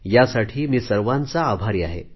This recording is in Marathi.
यासाठी मी सर्वांचा आभारी आहे